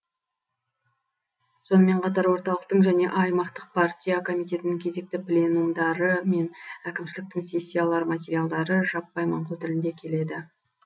сонымен қатар орталықтың және аймақтық партия комитетінің кезекті пленумдары мен әкімшіліктің сессиялар материалдары жаппай моңғол тілінде келеді